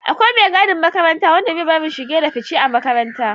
Akwai mai gadin makaranta wanda bai bari shige da fice a makaranta